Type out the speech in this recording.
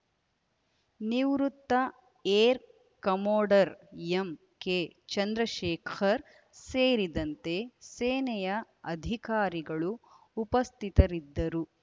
ನಿವೃತ್ತ air commodore M K Chandrashekhar ಸೇರಿದಂತೆ ಸೇನೆಯ ಅಧಿಕಾರಿಗಳು ಉಪಸ್ಥಿತರಿದ್ದರು